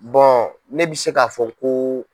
ne bɛ se k'a fɔ ko.